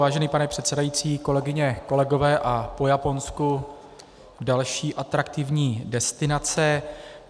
Vážený pane předsedající, kolegyně, kolegové, a po Japonsku další atraktivní destinace.